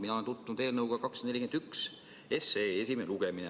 Mina olen tutvunud eelnõuga 241, praegu on selle esimene lugemine.